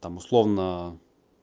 там условно